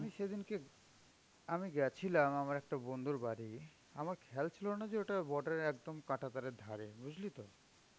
আমি সেদিনকে আমি গেছিলাম আমার একটা বন্ধুর বাড়ি, আমার খেয়াল ছিল না যে ওটা border এর একদম কাঁটা তারের ধারে. বুঝলি তো?